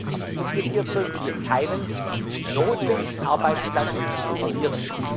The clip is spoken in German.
Aber umgekehrt sollten wir keinen notwendigen Arbeitsplatz verlieren.